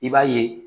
I b'a ye